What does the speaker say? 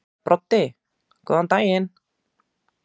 Broddi: Góðan daginn.